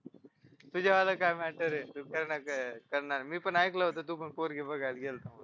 तुझ्या वाला काय matter आहे मी पण ऐकलं होतं तू पण पोरगी बघायला गेलता